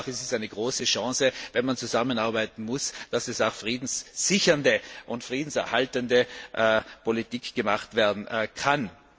führt. Aber ich glaube auch, dass es eine große Chance ist, wenn man zusammenarbeiten muss, und dass auch friedenssichernde und friedenserhaltende Politik gemacht werden